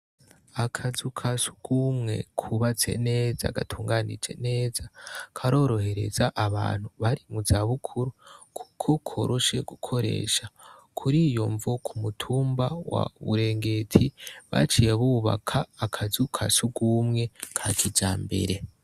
Akazu ka sugumwe kubatse neza gatunganije neza, karorohereza abantu bari mu zabukuru kuko koroshe gukoresha. Kuriyo mvo, ku mutumba wa Burengeti baciye bubaka akazu ka sugumwe ka kijambere.